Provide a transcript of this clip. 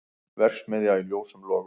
Verksmiðja í ljósum logum